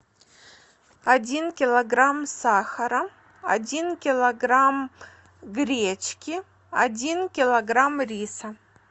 один килограмм сахара один килограмм гречки один килограмм риса